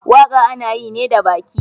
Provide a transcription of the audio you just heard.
Waka ana yi ne da baki.